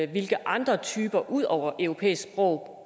hvilke andre typer ud over europæiske sprog